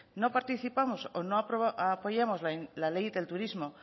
no participamos o no apoyamos la ley de turismo